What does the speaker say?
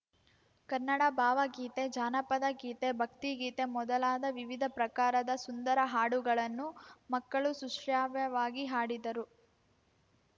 ಕನ್ನಡ ಬಾವಗೀತೆ ಜಾನಪದಗೀತೆ ಭಕ್ತಿಗೀತೆ ಮೊದಲಾದ ವಿವಿಧ ಪ್ರಕಾರದ ಸುಂದರ ಹಾಡುಗಳನ್ನು ಮಕ್ಕಳು ಸುಶ್ರಾವ್ಯವಾಗಿ ಹಾಡಿದರು